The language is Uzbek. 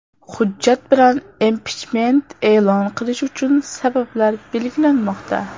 Hujjat bilan impichment e’lon qilish uchun sabablar belgilanmoqda.